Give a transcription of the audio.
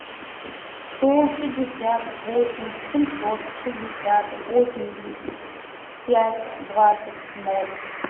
сто пятьдесят восемь семьсот шестьдесят восемьдесят пять двадцать ноль